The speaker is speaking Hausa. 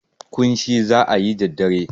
ƙunshi za a yi da dare.